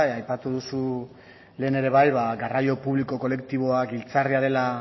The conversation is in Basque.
aipatu duzu lehen ere bai ba garraio publiko kolektiboak giltzarria dela